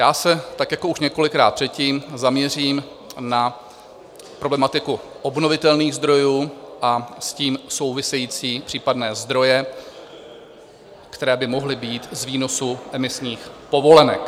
Já se, tak jako už několikrát předtím, zaměřím na problematiku obnovitelných zdrojů a s tím související případné zdroje, které by mohly být z výnosu emisních povolenek.